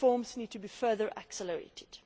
Reforms need to be further accelerated.